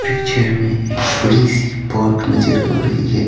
Picture में एक बड़ी सी पोर्क नज़र आ रही है।